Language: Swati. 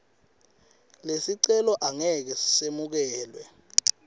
lesicelo angeke semukelwe